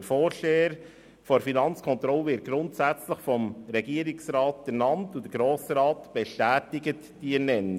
Der Vorsteher der Finanzkontrolle wird grundsätzlich vom Regierungsrat ernannt, und der Grosse Rat bestätigt diese Ernennung.